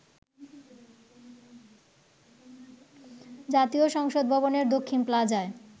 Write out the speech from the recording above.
জাতীয় সংসদ ভবনের দক্ষিণ প্লাজায়